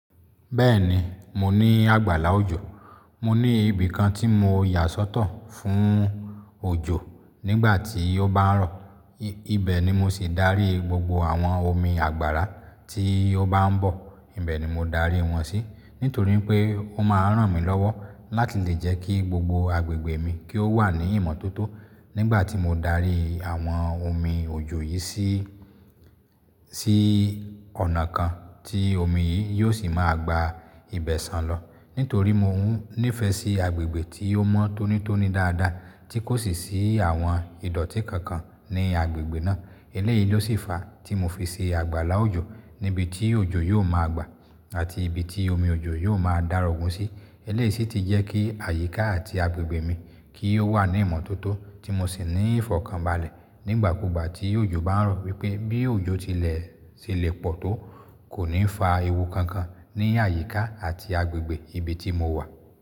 Bẹ́ẹ̀ni, mo ní àgbàlá òjò. Mo ní ibi kan tí mo yà sọ́tọ̀ fún òjò nígbà tí ó bá ń rọ̀. Ibe ni mo sì dárí gbogbo àwọn omi àgbàrá tí ó bá ń bọ̀. Ibe ni mo dárí wọn sí nítorí pé ó máa ń ràn mí lọ́wọ́ láti lè jẹ́ kí gbogbo agbègbè mi kí ó wà ní ìmọ́tótó nígbà tí mo dárí àwọn omi òjò yìí sí, sí ọ̀nà kan tí omi yìí yóò sì máa gba ibẹ̀ sàn lọ nítorí mo nífẹ̀ẹ́ sí agbègbè tí ó mọ́ tónítóní dáadáa tí kò sì sí àwọn ìdọ́tí kankan ní agbègbè náà. Eléyìí ló sì fa tí mo fi ṣe àgbàlá òjò níbi tí òjò yóò máa gba àti ibi tí omi òjò yóò máa darògún sí. Eléyìí sì ti jẹ́ kí àyíká àti agbègbè mi kí ó wà ní ìmọ́tótó tí mo sì ní ìfọ̀kànbalẹ̀ nígbà kugba tí òjò bá ń rọ̀ wípé bí òjò tilẹ̀ ṣe le pọ̀ tó, kò ní fa ewu kankan ní àyíká àti agbègbè ibi tí mo wà.